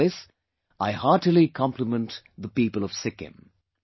For this, I heartily compliment the people of Sikkim